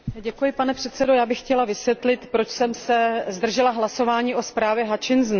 Pane předsedo, já bych chtěla vysvětlit, proč jsem se zdržela hlasování o zprávě Hutchinson.